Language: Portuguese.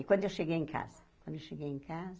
E quando eu cheguei em casa, quando eu cheguei em casa,